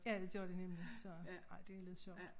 Ja det gør de nemlig så ej det lidt sjovt